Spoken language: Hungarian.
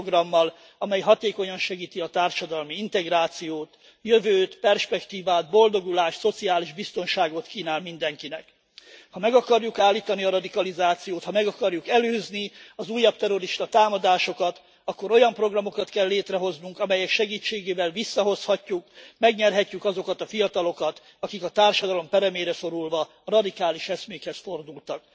Olyan programmal, amely hatékonyan segíti a társadalmi integrációt, jövőt, perspektívát, boldogulást, szociális biztonságot kínál mindenkinek. Ha meg akarjuk állítani a radikalizációt, ha meg akarjuk előzni az újabb terroristatámadásokat, akkor olyan programokat kell létrehoznunk, amelyek segítségével visszahozhatjuk, megnyerhetjük azokat a fiatalokat, akik a társadalom peremére szorulva radikális eszmékhez fordultak.